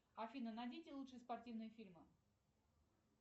афина найдите лучшие спортивные фильмы